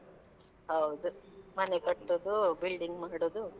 ಹೌದು ಮನೆಕಟ್ಟುದು building ಮಾಡುದು.